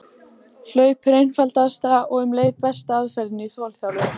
Hlaup er einfaldasta og um leið besta aðferðin í þolþjálfun.